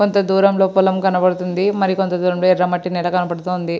కొంత దూరంలో పొలం కనబడుతుంది మరి కొంత దూరంలో ఎర్ర మట్టి నేల కనబడుతుంది.